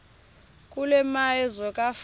kule meazwe kwafa